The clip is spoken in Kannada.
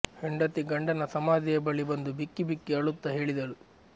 ಹೆಂಡತಿ ಗಂಡನ ಸಮಾಧಿಯ ಬಳಿ ಬಂದು ಬಿಕ್ಕಿ ಬಿಕ್ಕಿ ಅಳುತ್ತಾ ಹೇಳಿದಳು